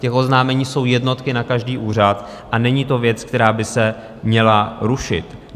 Těch oznámení jsou jednotky na každý úřad a není to věc, která by se měla rušit.